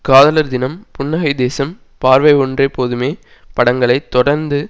காதலர் தினம் புன்னகை தேசம் பார்வை ஒன்றே போதுமே படங்களை தொடர்ந்து